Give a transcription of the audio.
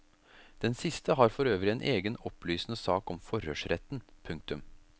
Den siste har for øvrig en egen opplysende sak om forhørsretten. punktum